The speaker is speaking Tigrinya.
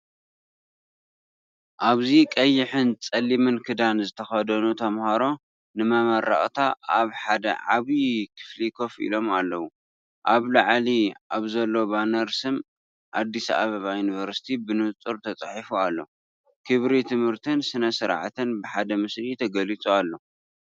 ኣብዚ ቀይሕን ጸሊምን ክዳን ዝተኸድኑ ተማሃሮ ንመመረቕታ ኣብ ሓደ ዓቢ ክፍሊ ኮፍ ኢሎም ኣለዉ። ኣብ ላዕሊ ኣብ ዘሎ ባነር ስም ኣዲስ ኣበባ ዩኒቨርስቲ ብንጹር ተጻሒፉ ኣሎ፤ ክብሪ ትምህርትን ስነ-ስርዓትን ብሓደ ምስሊ ተገሊጹ ኣሎ።